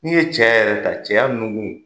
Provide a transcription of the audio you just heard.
N'i ye cɛya yɛrɛ ta, cɛya nukun